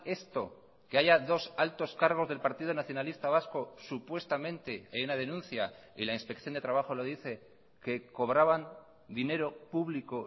esto que haya dos altos cargos del partido nacionalista vasco supuestamente hay una denuncia y la inspección de trabajo lo dice que cobraban dinero público